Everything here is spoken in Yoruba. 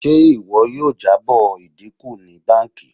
Ṣe iwọ yoo jabo idinku ni banki?